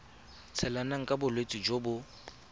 tshelang ka bolwetsi jo bo